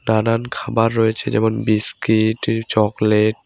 নানান খাবার রয়েছে যেমন- বিস্কিট ই চকলেট ।